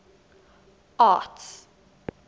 arts